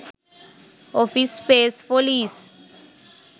office space for lease